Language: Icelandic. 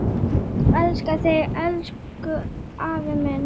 Elska þig, elsku afi minn.